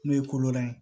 N'o ye kolola ye